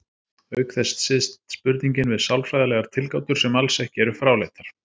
Auk þess styðst spurningin við sálfræðilegar tilgátur sem alls ekki eru fráleitar.